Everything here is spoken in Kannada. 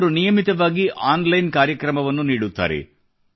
ಅವರು ನಿಯಮಿತವಾಗಿ ಆನ್ ಲೈನ್ ಕಾರ್ಯಕ್ರಮವನ್ನು ನೀಡುತ್ತಾರೆ